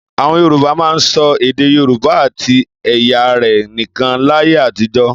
Àwọn Yorùbá máa ń sọ èdè Yorùbá àti ẹ̀ya rẹ̀ nìkan láyé àtijọ́.